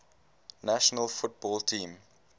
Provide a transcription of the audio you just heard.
national football team